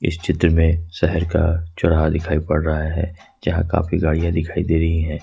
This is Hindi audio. इस चित्र में शहर का चौराहा दिखाई पड़ रहा है जहां काफी गाड़ियां दिखाई दे रही हैं।